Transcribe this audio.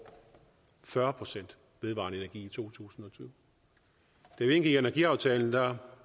fyrre procent vedvarende energi i to tusind og tyve da vi indgik energiaftalen var